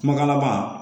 Kumakan laban